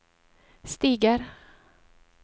stiger